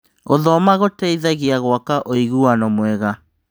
Gũthoma gũteithagia gwaka ũiguano mwega.